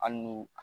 Hali n'u